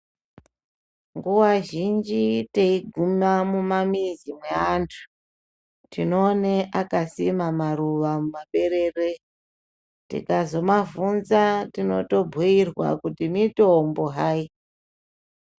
Nguwa zhinji teiguma mumamizi mweantu tinoone akasima maruwa mumaberere tikazomavhunza tinotobhuyirwa kuti mitombo hayi.